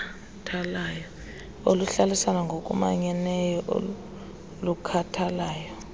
oluhlalisana ngokumanyeneyo olukhathalayo